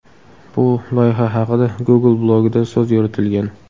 Bu loyiha haqida Google blogida so‘z yuritilgan.